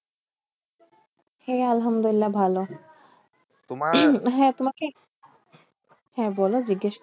হ্যাঁ আলহামদুল্লিয়াহ ভালো। হ্যাঁ তোমাকে হ্যাঁ বলো জিজ্ঞেস